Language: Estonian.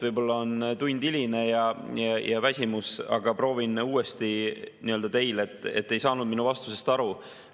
Võib-olla on tund hiline ja väsimus, aga proovin uuesti öelda teile, et te ei saanud minu vastusest aru.